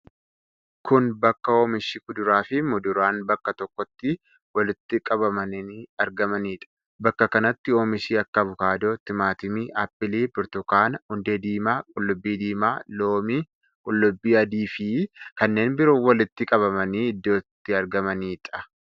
Kun bakka oomishi kuduraa fi muduraan bakka tokkotti itti walitti qabamanii argamanidha. Bakka kanatti oomishi akka avokaadoo, timaatimii, aappilii, burtukaana, hundee diimaa, qullubbii diimaa, loomii, qullubbii adii fi kanneen biroo walitti qabamanii iddoo itti argamanidha.